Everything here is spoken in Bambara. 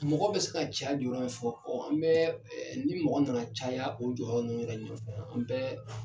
Mɔgɔ bɛ se ka can dɔrɔn fɔ an bɛ ni mɔgɔ nana caya o jɔyɔrɔ ninnu yɛrɛ ɲɔfɛ an bɛ